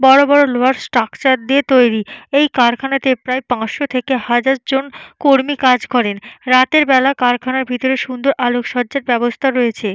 বড় বড় লোহার স্ট্রাকচার দিয়ে তৈরি। এই কারখানাতে প্রায় পাঁচশো থেকে হাজার জন কর্মী কাজ করে। রাতের বেলায় কারখানায় সুন্দর আলোকসজ্জার ব্যবস্থা রয়েছে।